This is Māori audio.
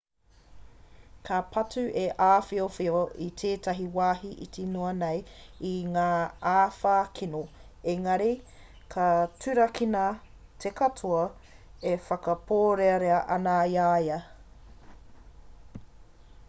ka patu te āhiowhio i tētahi wāhi iti noa nei i ngā āwha kino engari ka turakina te katoa e whakapōrearea ana i a ia